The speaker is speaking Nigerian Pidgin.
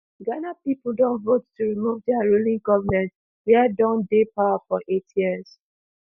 ghana pipo don vote to remove dia ruling goment wia don dey power for eight years